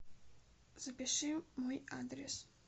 запиши мой адрес